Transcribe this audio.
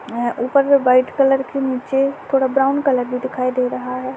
एं ऊपर में white colour के नीचे थोडा ब्राउन कलर भी दिखाई दे रहा है।